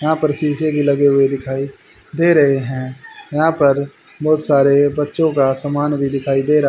यहां पर शीशे भी लगे हुए दिखाई दे रहे हैं यहां पर बहुत सारे बच्चों का सामान भी दिखाई दे रहा--